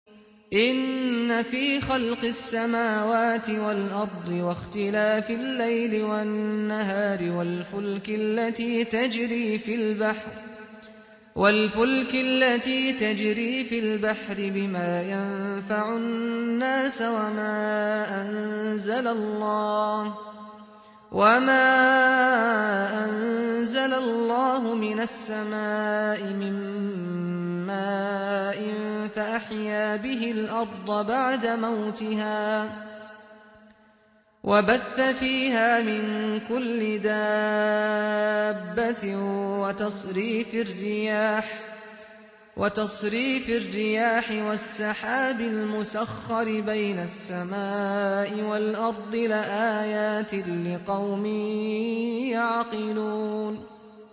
إِنَّ فِي خَلْقِ السَّمَاوَاتِ وَالْأَرْضِ وَاخْتِلَافِ اللَّيْلِ وَالنَّهَارِ وَالْفُلْكِ الَّتِي تَجْرِي فِي الْبَحْرِ بِمَا يَنفَعُ النَّاسَ وَمَا أَنزَلَ اللَّهُ مِنَ السَّمَاءِ مِن مَّاءٍ فَأَحْيَا بِهِ الْأَرْضَ بَعْدَ مَوْتِهَا وَبَثَّ فِيهَا مِن كُلِّ دَابَّةٍ وَتَصْرِيفِ الرِّيَاحِ وَالسَّحَابِ الْمُسَخَّرِ بَيْنَ السَّمَاءِ وَالْأَرْضِ لَآيَاتٍ لِّقَوْمٍ يَعْقِلُونَ